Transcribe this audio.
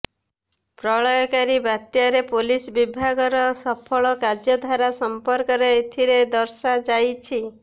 ପ୍ରଳୟଙ୍କରୀ ବାତ୍ୟାରେ ପୋଲିସ ବିଭାଗର ସଫଳ କାର୍ଯ୍ୟଧାରା ସଂପର୍କରେ ଏଥିରେ ଦର୍ଶାଯାଇଛି